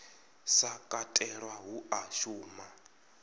sa katelwa hu a shuma